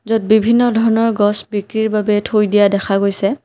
য'ত বিভিন্ন ধৰণৰ গছ বিক্ৰীৰ বাবে থৈ দিয়া দেখা গৈছে।